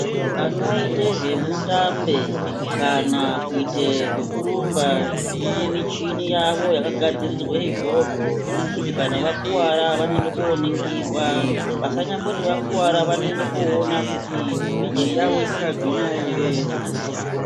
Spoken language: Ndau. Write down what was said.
Anoite zvemutambe kana kuite zvekurumba kune michini yavo yakagadzirirwe izvozvo kuti kana vakuvara vanoende koningirwa vasanyamboti vakuvara vaende koona kuti miri yavo ichakagwinya ere.